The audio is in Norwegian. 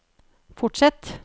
fortsett